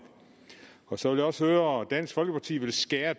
så vil jeg også høre om dansk folkeparti vil skære